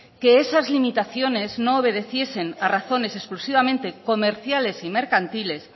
que esas limitaciones no obedeciesen a razones exclusivamente comerciales y mercantiles